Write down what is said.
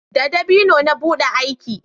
da dabino na buɗe aki